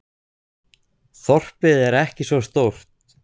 Þorpið er ekki svo stórt.